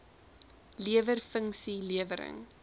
lewer funksie lewering